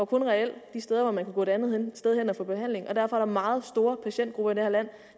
kun var reel de steder hvor man kunne gå et andet sted hen og få behandling og derfor er der meget store patientgrupper i det her land